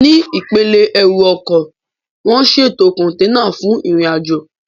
Ní ipele ẹrù ọkọ̀, wọ́n ṣètò kọ̀ǹténà fún ìrìnàjò